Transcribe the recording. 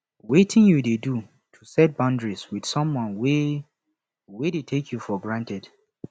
wetin you dey do to set boundaries with someone wey wey dey take you for granted